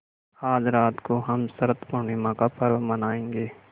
आज रात को हम शरत पूर्णिमा का पर्व मनाएँगे